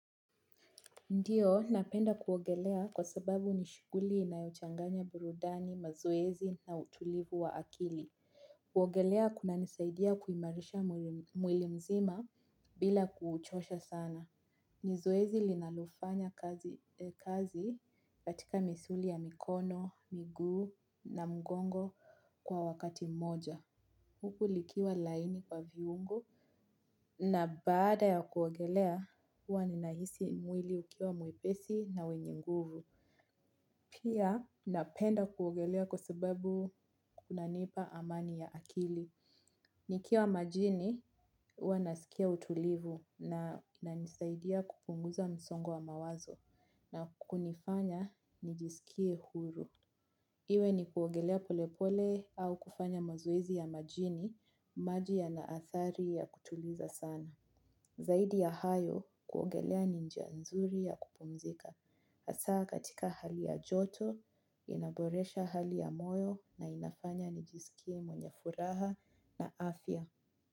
Ndiyo, napenda kuwogelea kwa sababu nishiguli inayochanganya burudani, mazoezi na utulivu wa akili. Kuwogelea kuna nisaidia kuimarisha mwili mzima bila kuuchosha sana. Ni zoezi linalofanya kazi katika misuli ya mikono miguu na mgongo kwa wakati mmoja. Huku likiwa laini kwa viungo na bada ya kuwogelea, uwa ninaisi mwili ukiwa mwepesi na wenye nguvu. Pia napenda kuwogelea kwa sababu kuna nipa amani ya akili. Nikiwa majini, uwa nasikia utulivu na nisaidia kupunguza msongo wa mawazo na kunifanya nijisikie huru. Iwe ni kuogelea polepole au kufanya mazoezi ya majini, majia yana athari ya kutuliza sana. Zaidi ya hayo kuogelea ninjia nzuri ya kupumzika. Asa katika hali ya joto, inaboresha hali ya moyo na inafanya nijisikie mwenye furaha na afya.